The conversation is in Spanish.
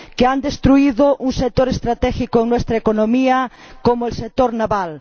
que han destruido un sector estratégico en nuestra economía como el sector naval